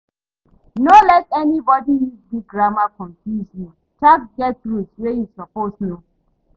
No let anybody use big grammar confuse you, tax get rules wey you suppose know.